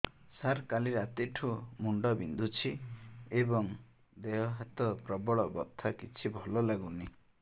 ସାର କାଲି ରାତିଠୁ ମୁଣ୍ଡ ବିନ୍ଧୁଛି ଏବଂ ଦେହ ହାତ ପ୍ରବଳ ବଥା କିଛି ଭଲ ଲାଗୁନି